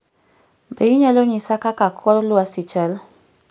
Be inyalo nyisa kaka kor lwasi chal?